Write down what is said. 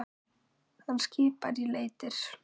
Hann skipar í leitir.